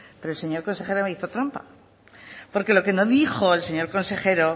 pero el señor consejero me hizo trampa porque lo que no dijo el señor consejero